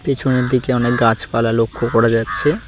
পেছনের দিকে অনেক গাছপালা লক্ষ্য করা যাচ্ছে।